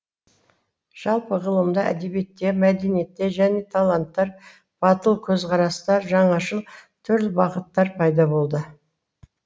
жалпы ғылымда әдебиетте мәдениетте жаңа таланттар батыл көзқарастар жаңашыл түрлі бағыттар пайда болды